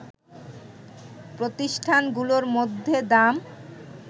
প্রতিষ্ঠানগুলোর মধ্যে দাম